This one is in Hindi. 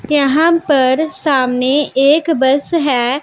यहां पर सामने एक बस है।